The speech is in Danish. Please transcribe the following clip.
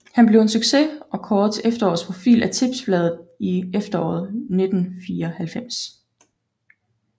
Han blev en succes og kåret til efterårets profil af Tipsbladet i efteråret 1994